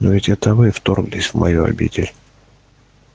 но ведь это вы вторглись в мою обитель